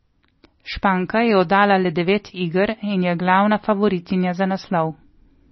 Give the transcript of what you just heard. Španka je oddala le devet iger in je glavna favoritinja za naslov.